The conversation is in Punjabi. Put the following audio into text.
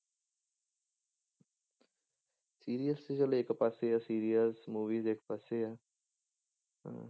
Serials ਚਲੋ ਇੱਕ ਪਾਸੇ ਆ serial movies ਇੱਕ ਪਾਸੇ ਆ ਹਾਂ।